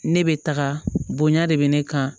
Ne bɛ taga bonya de bɛ ne kan